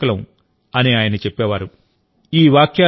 మనమే దాని రక్షకులం అని ఆయన చెప్పేవారు